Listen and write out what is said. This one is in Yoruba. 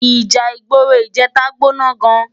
Íjà igbóró ijètá gbóná gán